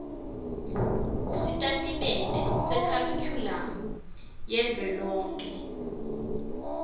sitatimende sekharikhulamu yavelonkhe